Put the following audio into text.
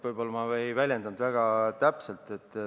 Võib-olla ei väljendanud ma end väga täpselt.